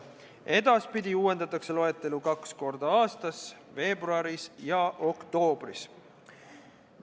Edaspidi uuendatakse loetelu kaks korda aastas: veebruaris ja oktoobris.